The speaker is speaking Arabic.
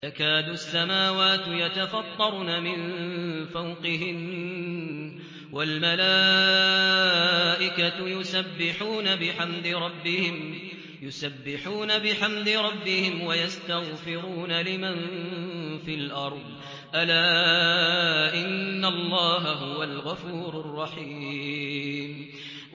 تَكَادُ السَّمَاوَاتُ يَتَفَطَّرْنَ مِن فَوْقِهِنَّ ۚ وَالْمَلَائِكَةُ يُسَبِّحُونَ بِحَمْدِ رَبِّهِمْ وَيَسْتَغْفِرُونَ لِمَن فِي الْأَرْضِ ۗ أَلَا إِنَّ اللَّهَ هُوَ الْغَفُورُ الرَّحِيمُ